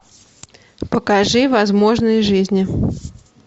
покажи возможные жизни